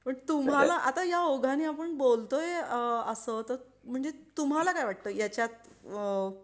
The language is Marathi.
पण तुम्हाला आता या ओघाने आपण बोलतोय असं त म्हणजे तुम्हाला काय वाटतं? याच्यात अ काय केलं पाहिजे?